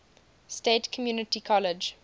state community college